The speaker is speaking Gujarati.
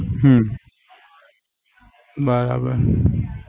હમ બરાબર